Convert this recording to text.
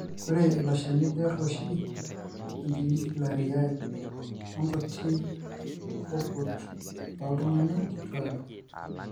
Ore iloshani kear oshi enkinyifilaria onkuti oonkurt ooltung'anak kituak.